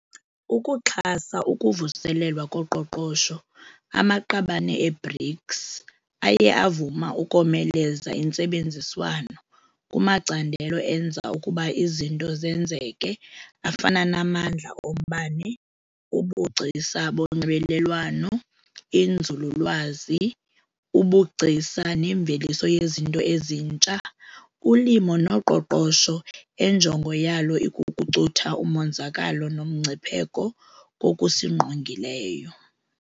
Ukuxhasa ukuvuselelwa koqoqosho, amaqabane e-BRICS aye avuma ukomeleza intsebenziswano kumacandelo enza ukuba izinto zenzeke afana namandla ombane, ubugcisa bonxibelelwano, inzululwazi, ubugcisa nemveliso yezinto ezintsha, ulimo noqoqosho enjongo yalo ikukucutha umonzakalo nomgcipheko kokusingqongileyo.